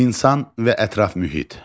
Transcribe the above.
İnsan və ətraf mühit.